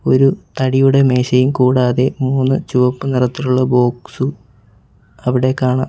ഒരു തടിയുടെ മേശയും കൂടാതെ മൂന്ന് ചുവപ്പ് നിറത്തിലുള്ള ബോക്സും അവിടെ കാണാം.